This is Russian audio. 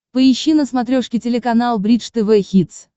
поищи на смотрешке телеканал бридж тв хитс